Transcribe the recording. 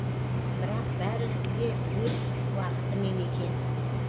бірақ бәрі де өз уақытымен екен